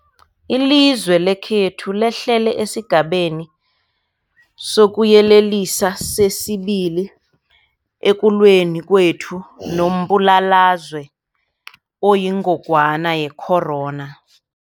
Ilizwe lekhethu lehlele esiGabeni sokuYelelisa sesi-2 ekulweni kwethu nombulalazwe oyingogwana ye-corona.